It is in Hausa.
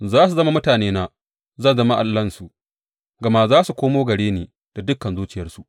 Za su zama mutanena, zan zama Allahnsu, gama za su komo gare ni da dukan zuciyarsu.